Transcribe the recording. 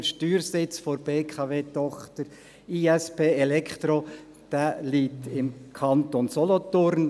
Der Steuersitz der BKW-Tochter ISP Electro Solutions liegt im Kanton Solothurn;